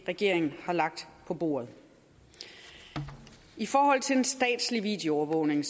regeringen har lagt på bordet i forhold til den statslige videoovervågning